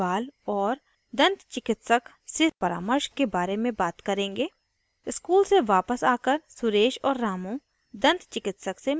यहाँ हम दाँतों को स्वस्थ रखने की चिकित्सा प्राथमिक देखभाल और दन्त चिकित्सक से परामर्श के care में बात करेंगे